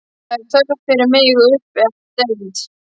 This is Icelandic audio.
Það er þörf fyrir mig uppi á deild.